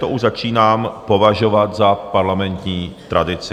To už začínám považovat za parlamentní tradici.